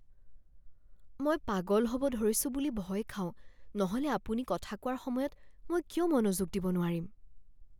মই পাগল হ'ব ধৰিছোঁ বুলি ভয় খাওঁ নহ'লে আপুনি কথা কোৱাৰ সময়ত মই কিয় মনোযোগ দিব নোৱাৰিম?